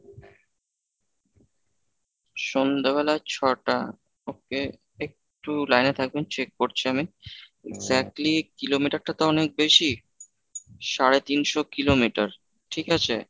সন্ধ্যেবেলা ছটা Okay একটু line এ থাকবেন check করছি আমি, exactly kilometer টা তো অনেক বেশি সাড়ে তিনশো kilometer ঠিক আছে?